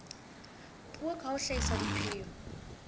puo ka ho hlahisa dipheo